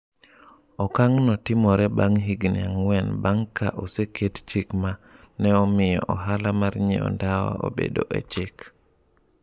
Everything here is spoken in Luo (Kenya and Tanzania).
Okang’no timore bang’ higni ang’wen bang’ ka oseket chik ma ne omiyo ohala mar ng’iewo ndawa obed e chik.